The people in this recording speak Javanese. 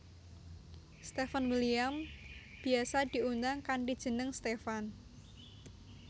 Steven William biyasa diundang kanthi jeneng Stefan